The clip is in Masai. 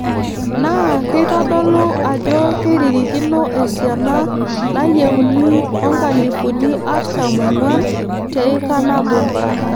Naa keitodolu ajo keiririkino esiana nayieuni oo nkalifuni artam oong'wan te ika nabo.